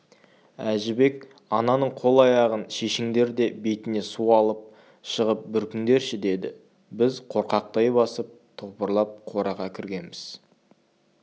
әжібек ананың қол-аяғын шешіңдер де бетіне су алып шығып бүркіңдерші деді біз қорқақтай басып топырлап қораға кіргенбіз